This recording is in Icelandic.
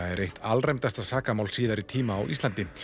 er eitt alræmdasta sakamál síðari ára á Íslandi